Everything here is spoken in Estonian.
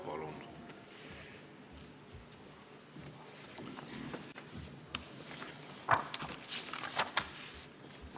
Palun!